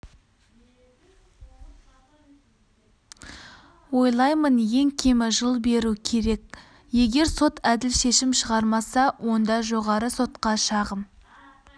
ойлаймын ең кемі жыл беру керек егер сот әділ шешім шығармаса онда жоғары сотқа шағым